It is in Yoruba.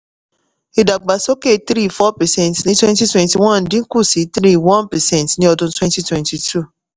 ìdàgbàsókè three four percent ní twenty twenty-one dín kù sí three one percent ní ọdún twenty twenty-two